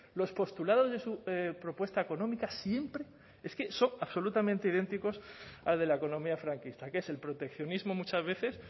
los postulados de su propuesta económica siempre es que son absolutamente idénticos al de la economía franquista que es el proteccionismo muchas veces